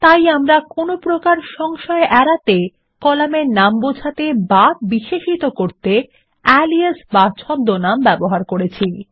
তাই আমরা কোনপ্রকার সংশয় এড়াতে কলামের নাম বোঝাতে বা বিশেষিত করতে আলিয়াস ছদ্মনাম ব্যবহার করবো